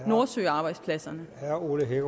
nordsøarbejdspladserne bagudrettet